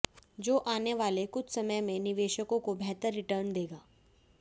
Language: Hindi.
जो आनेवाले कुछ समय में निवेशकों को बेहतर रिटर्न देगा